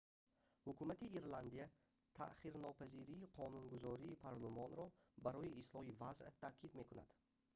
ҳукумати ирландия таъхирнопазирии қонунгузории парлумониро барои ислоҳи вазъ таъкид мекунад